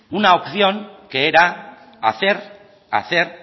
una opción que era hacer hacer